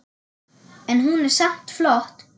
En hún er samt flott.